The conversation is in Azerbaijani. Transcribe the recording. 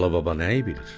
Alı baba nəyi bilir?